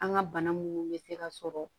An ka bana munnu bɛ se ka sɔrɔ